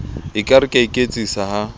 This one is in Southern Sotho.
ekare ke a iketsisa ha